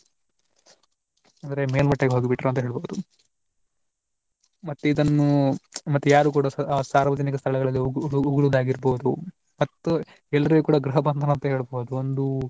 ಅಂದ್ರೆ ಮೇಲ್ಮಟ್ಟಕ್ಕೆ ಹೋಗಿ ಬಿಟ್ರು ಅಂತ ಹೇಳ್ಬಹುದು. ಮತ್ತೆ ಇದನ್ನು ಮತ್ ಯಾರೂ ಕೂಡಾ ಸಾರ್ವಜನಿಕ ಸ್ಥಳಗಳಲ್ಲಿಉಗುಳುವುದಾಗಿರಬಹುದು ಮತ್ತೆ ಎಲ್ಲರಿಗೂ ಕೂಡಾ ಗೃಹಬಂಧನ ಅಂತ ಹೇಳ್ಬಹುದು ಒಂದು